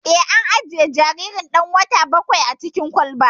Eh, an ajiye jaririn ɗan wata bakwain a cikin kwalba